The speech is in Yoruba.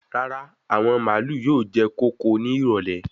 Rárá, àwọn màálù yóò jẹ kóko ní ìrọ̀lẹ́